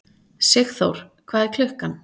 Sigþór, hvað er klukkan?